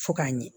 Fo k'a ɲɛ